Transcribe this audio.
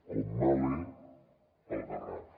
com mahle al garraf